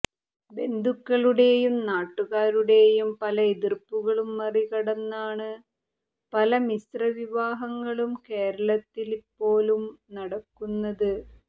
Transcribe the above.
ബന്ധുക്കളുടേയും നാട്ടുകാരുടേയും പല എതിര്പ്പുകളും മറികടന്നാണ് പല മിശ്ര വിവാഹങ്ങളും കേരളത്തില്പോലും നടക്കുന്നത്